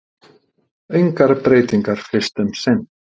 Engar breytingar fyrst um sinn